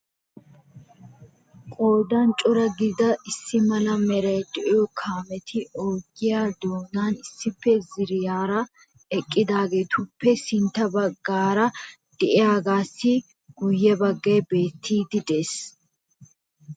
Qoodan cora gidida issi mala meray de'iyo kaametti ogiyaa doonan issippe ziiriyaara eqqidaageetuppe sintta baggaara de'iyaagassi guyye baggay beettidi de'ees.